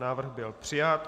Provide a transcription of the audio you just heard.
Návrh byl přijat.